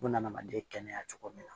Buna adamaden kɛnɛya cogo min na